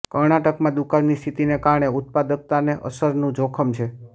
કર્ણાટકમાં દુકાળની સ્થિતિને કારણે ઉત્પાદકતાને અસરનું જોખમ છે